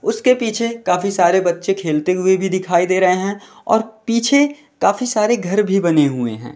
उसके पीछे काफी सारे बच्चे खेलते हुए भी दिखाई दे रहे हैं और पीछे काफी सारे घर भी बने हुए हैं।